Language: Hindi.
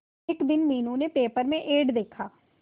एक दिन मीनू ने पेपर में एड देखा